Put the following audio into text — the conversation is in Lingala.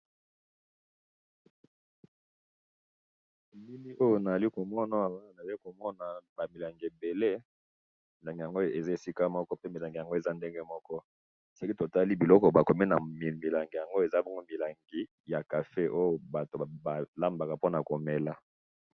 elili oyo nazalikomona awa nazali komona ba milangi ebele, milangi yango eza esika moko pe eza ndenge moko soki totali biloko bakomi na milangi awa ezali cafe oyo batu balambaka pona komela